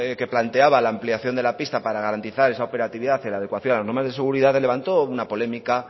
que planteaba la ampliación de la pista para garantizar esa operatividad en la adecuación a las normas de seguridad levantó una polémica